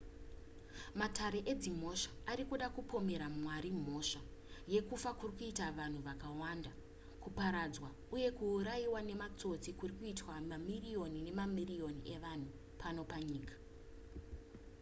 matare edzimhosva ari kuda kupomera mwari mhosva yekufa kuri kuita vanhu vakawanda kuparadzwa uye kuurayiwa nematsotsi kuri kuitwa mamiriyoni nemamiriyoni evanhu pano panyika